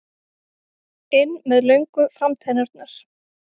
inn með löngu framtennurnar.